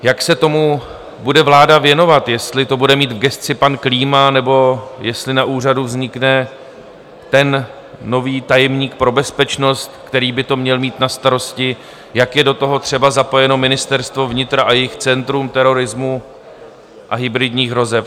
Jak se tomu bude vláda věnovat, jestli to bude mít v gesci pan Klíma, nebo jestli na úřadu vznikne ten nový tajemník pro bezpečnost, který by to měl mít na starosti, jak je do toho třeba zapojeno Ministerstva vnitra a jejich Centrum terorismu a hybridních hrozeb.